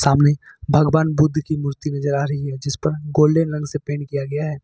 सामने भगवान के बुद्ध की मूर्ति नजर आ रही है जिस पर गोल्डेन रंग से पेंट किया गया है।